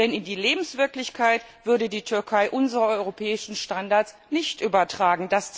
Denn in die Lebenswirklichkeit würde die Türkei unsere europäischen Standards nicht übertragen.